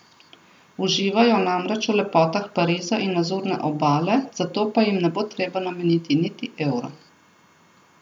Uživajo namreč v lepotah Pariza in Azurne obale, za to pa jim ne bo treba nameniti niti evra.